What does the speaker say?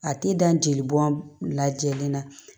A tɛ dan jeli bɔn lajɛlen na